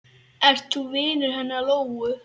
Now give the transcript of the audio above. Ert þú vinur hennar Lóu?